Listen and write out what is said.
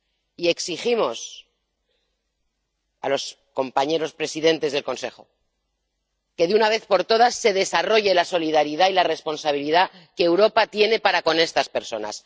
Y exigimos a los compañeros presidentes del Consejo que, de una vez por todas, se desarrolle la solidaridad y la responsabilidad que Europa tiene para con estas personas.